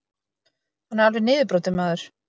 Hann er alveg niðurbrotinn maður.